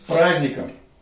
с праздником